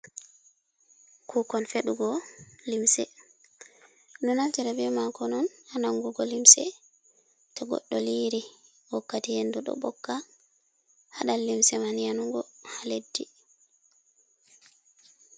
Kukon fedugo limse ɗuɗo naftira be makon on ha nangugo limse, to goɗɗo liri wakkati hendu do ɓokka haɗal limse man yanugo ha leddi.